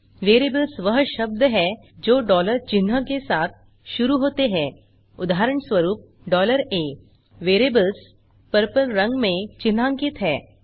variables वह शब्द हैं जो चिह्न के साथ शुरू होते हैं उदाहरणस्वरूप a वेरिएबल्स पर्पल रंग में चिन्हांकित हैं